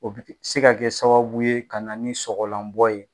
O bɛ se ka kɛ sababu ye ka na ni sɔgɔlanbɔ ye.